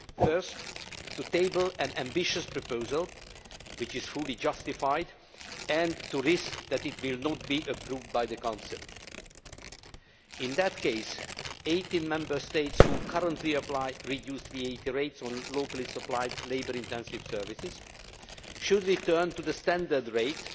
The first was to table an ambitious proposal, which is fully justified, and to run the risk that it might not be approved by the Council. In that case, 18 Member States that currently apply reduced VAT rates on locally supplied, labour intensive services should return to the standard rate.